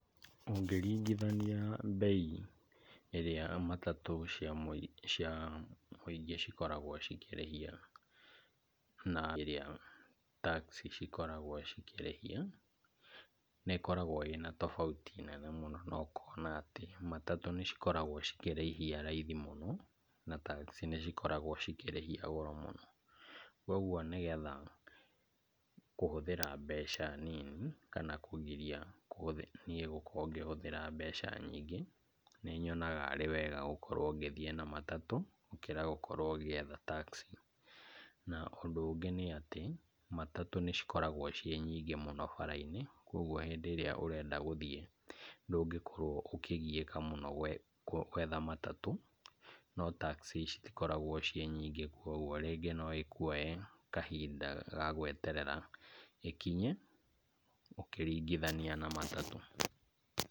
Ũngĩringithania mbei ĩrĩa matatũ cia mũingĩ cikoragwo cikĩrĩhia, na ĩrĩa taxi cikoragwo cikĩrĩhia, nĩ ikoragwo ina tofauti na ũkona atĩ matatũ nĩ cikoragwo cikĩrĩhia raithi mũno, na taxi nĩ cikoragwo cikĩrĩhia goro mũno, koguo nĩgetha kũhũthĩra mbeca nini kana kũgiria niĩ ngorwo ngĩhũthĩra mbeca nyingĩ , nĩ nyonaga arĩ wega ngĩthiĩ na matatũ gũkĩra gũkorwo ũgĩetha taxi, na ũndũ ũngĩ nĩ atĩ matatũ nĩcikoragwo ci nyingĩ bara-inĩ, kũgwo rĩrĩa ũrenda gũthiĩ ndũngĩkorwo ũkĩgiĩka mũno gwetha matatũ, no taxi citikoragwo ciĩ nyingĩ kũgwo rĩngĩ no ĩkuoe kahinda ga gweterera ĩkinye ũkĩringithania na matatũ.